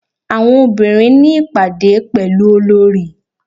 Àwọn obìnrin ní ìpàdé pẹ̀lú Olorì.